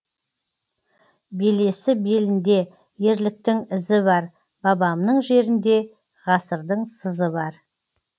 белесі белінде ерліктің ізі бар бабамның жерінде ғасырдың сызы бар